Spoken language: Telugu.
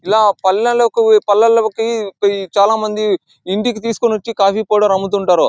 ఇలా పల్లెల్లోకు పల్లె లోకి చాల మంది ఇంటికి తీసుకొని వచ్చి కాఫీ పౌడర్ అమ్ముతుంటారు.